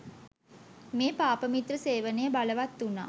මේ පාපමිත්‍ර සේවනය බලවත් වුනා.